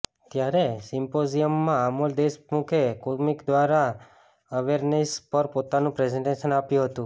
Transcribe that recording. ત્યારે સિમ્પોઝિયમમાં આમોલ દેશમુખે કોમિક દ્વારા એવેરનેસ પર પોતાનું પ્રેઝન્ટેશન આપ્યું હતું